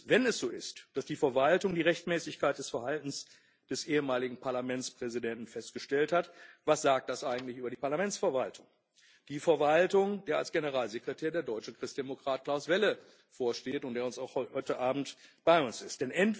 Wenn es so ist, dass die Verwaltung die Rechtmäßigkeit des Verhaltens des ehemaligen Parlamentspräsidenten festgestellt hat, was sagt das eigentlich über die Parlamentsverwaltung die Verwaltung, der als Generalsekretär der deutsche Christdemokrat Klaus Welle vorsteht und der auch heute Abend bei uns ist?